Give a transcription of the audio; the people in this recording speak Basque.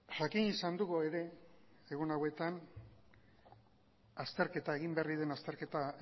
jakin izan dugu ere egun hauetan egin berri den azterketa